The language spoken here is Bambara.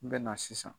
N bɛ na sisan